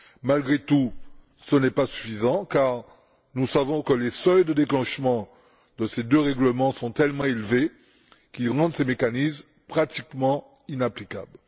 Malgré tout, ce n'est pas suffisant, car nous savons que les seuils de déclenchement de ces deux règlements sont tellement élevés qu'ils rendent ces mécanismes pratiquement inapplicables.